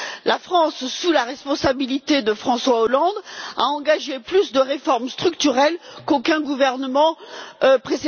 La France, sous la responsabilité de François Hollande, a engagé plus de réformes structurelles qu'aucun gouvernement auparavant.